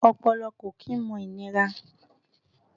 Ọpọlọ kò kí n mọ ìnira